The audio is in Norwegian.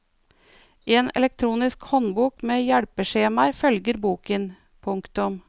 En elektronisk håndbok med hjelpeskjemaer følger boken. punktum